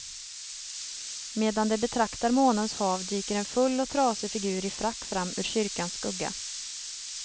Medan de betraktar månens hav dyker en full och trasig figur i frack fram ur kyrkans skugga.